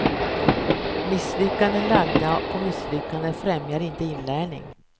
Misslyckanden lagda på misslyckanden främjar inte inlärning.